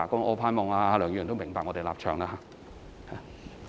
我希望梁議員明白我們的立場。